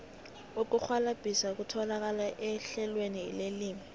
ukurhwalabhisa kutholakala ehlelweni lelimi